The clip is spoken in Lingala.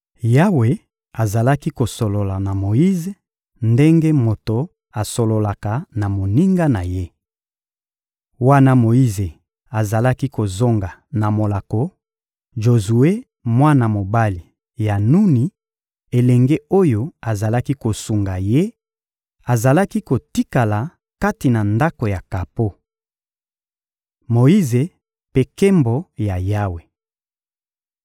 Yawe azalaki kosolola na Moyize ndenge moto asololaka na moninga na ye. Wana Moyize azalaki kozonga na molako; Jozue, mwana mobali ya Nuni, elenge oyo azalaki kosunga ye, azalaki kotikala kati na ndako ya kapo. Moyize mpe nkembo ya Yawe